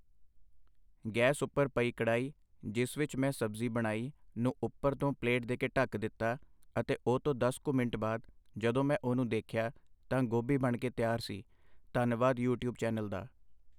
gas ਉੱਪਰ ਪਈ ਕੜਾਈ, ਜਿਸ ਵਿਚ ਮੈਂ ਸਬਜ਼ੀ ਬਣਾਈ ਨੂੰ ਉੱਪਰ ਤੋਂ ਪਲੇਟ ਦੇ ਕੇ ਢੱਕ ਦਿੱਤਾ ਅਤੇ ਉਹ ਤੋਂ ਦਸ ਕੁ ਮਿੰਟ ਬਾਅਦ ਜਦੋਂ ਮੈਂ ਉਹ ਨੂੰ ਦੇਖਿਆ ਤਾਂ ਗੋਭੀ ਬਣ ਕੇ ਤਿਆਰ ਸੀ, ਧੰਨਵਾਦ ਯੂ ਟਿਊਬ ਚੈਨਲ ਦਾ